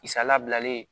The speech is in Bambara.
Kisa labilalen